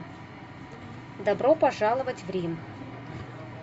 добро пожаловать в рим